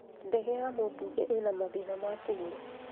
Ndege ya mũmbunge ĩna mathĩna ma kũgũrũ